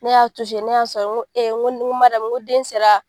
Ne y'a ne y'a sɔrɔ n ko ee n ko den sera.